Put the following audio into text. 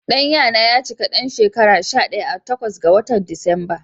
Ɗan ya na ya cika ɗan shekara shaɗaya a takwas ga watan Disamba.